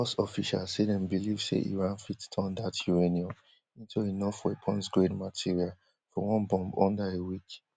us officials say dem believe say iran fit turn dat uranium into enough weaponsgrade material for one bomb under a week